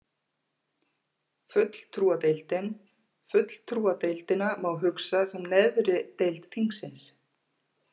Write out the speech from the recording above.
Fulltrúadeildin Fulltrúadeildina má hugsa sem neðri deild þingsins.